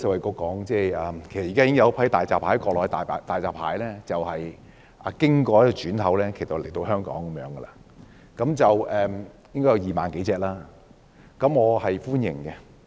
其實現時已有一批國內的大閘蟹經轉口來到香港，應該有2萬多隻蟹，我對此表示歡迎。